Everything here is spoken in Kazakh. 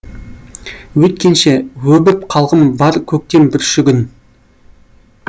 өйткенше өбіп қалғым бар көктем бүршігін